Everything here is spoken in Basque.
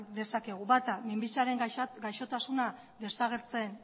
dezakegu bata minbiziaren gaixotasuna desagertzen